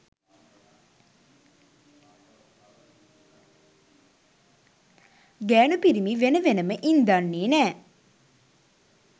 ගෑනු පිරිමි වෙන වෙනම ඉන්දන්නෙ නෑ